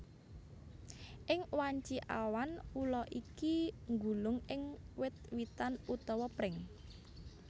Ing wanci awan ula iki nggulung ing wit witan utawa pring